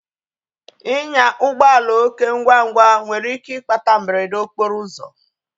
Inya ụgbọala oké ngwa ngwa nwere ike ịkpata mberede okporo ụzọ